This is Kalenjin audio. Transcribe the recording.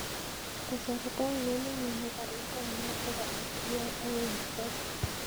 Kasarta ainon nenyone karit ab maat nebo sgr agoi nairobi